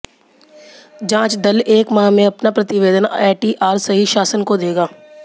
जाँच दल एक माह में अपना प्रतिवेदन एटीआर सहित शासन को देगा